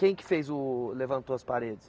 Quem que fez o levantou as paredes?